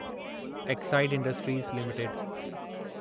Exide industries limited